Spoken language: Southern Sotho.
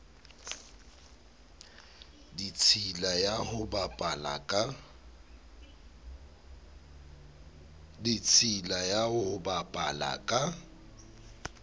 ditshila ya ho bapala ka